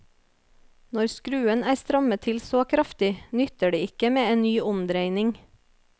Når skruen er strammet til så kraftig, nytter det ikke med en ny omdreining.